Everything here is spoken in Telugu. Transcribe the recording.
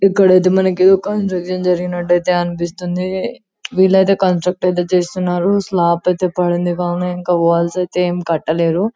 ఇక్కడైతే మనకు ఒక జరిగినటైతే అనిపిస్తుంది వీలైతే కాంసృక్ట్ ఐతే చేస్తున్నారు స్లాబ్ ఐతే పండింది కానీ ఇంకా వాల్స్ ఐతే ఇంకా ఏమి కట్టలేరు .